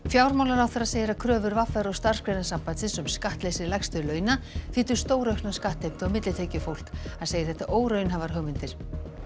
fjármálaráðherra segir að kröfur v r og Starfsgreinasambandsins um skattleysi lægstu launa þýddu stóraukna skattheimtu á millitekjufólk hann segir þetta óraunhæfar hugmyndir